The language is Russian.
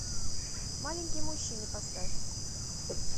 маленький мужчина поставь